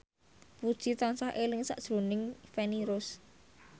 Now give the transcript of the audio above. Puji tansah eling sakjroning Feni Rose